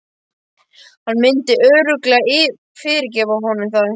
Hann myndi örugglega fyrirgefa honum það.